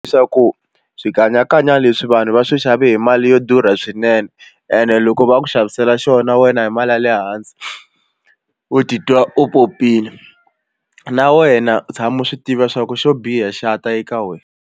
Leswaku swikanyakanya leswi vanhu va swi xave hi mali yo durha swinene ene loko va ku xavisela xona wena hi mali ya le hansi u titwa u popile na wena tshama u swi tiva swa ku xo biha xa ta eka wena.